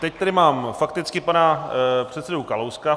Teď tady mám fakticky pana předsedu Kalouska.